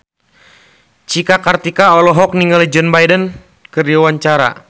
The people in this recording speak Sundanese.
Cika Kartika olohok ningali Joe Biden keur diwawancara